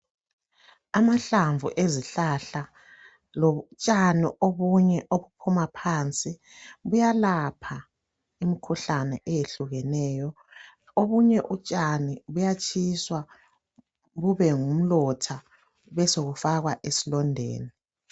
Amahlamvu ezihlahla lotshani obunye obuphuma phansi kuyalapha imikhuhlane eyehlukeneyo obunye utshani buyatshiswa bube ngumlotha besebufakwa esilondeni.